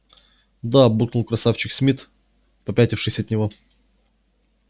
да буркнул красавчик смит попятившись от него